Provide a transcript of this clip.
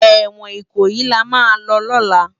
Ewòn Ikoyi làmá lò lòlá